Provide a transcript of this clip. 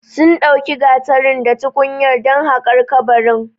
Sun ɗauki gatarin da tukunyar dan haƙar kabarin